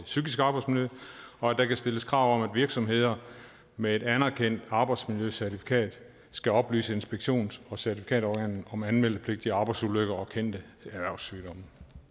psykiske arbejdsmiljø og at der kan stilles krav virksomheder med et anerkendt arbejdsmiljøcertifikat skal oplyse inspektions og certifikatorganet om anmeldepligtige arbejdsulykker og kendte erhvervssygdomme